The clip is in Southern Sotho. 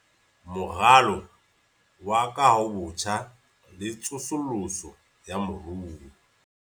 Moralo wa Kahobotjha le Tsosoloso ya Moruo